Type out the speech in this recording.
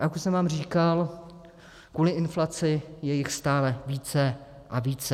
A jak už jsem vám říkal, kvůli inflaci je jich stále více a více.